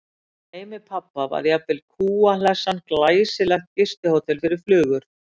Í heimi pabba var jafnvel kúa- hlessan glæsilegt gistihótel fyrir flugur.